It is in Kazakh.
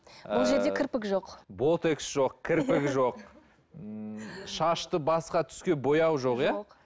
бұл жерде кірпік жоқ ботокс жоқ кірпік жоқ ммм шашты басқа түске бояу жоқ иә